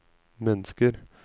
mennesker